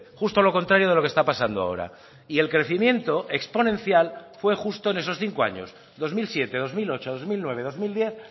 justo lo contrario de lo que está pasando ahora y el crecimiento exponencial fue justo en esos cinco años dos mil siete dos mil ocho dos mil nueve dos mil diez